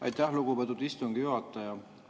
Aitäh, lugupeetud istungi juhataja!